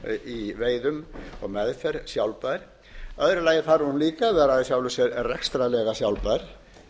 í veiðum og meðferð sjálfbær í öðru lagi þarf hún líka að vera í sjálfu sér rekstrarlega sjálfbær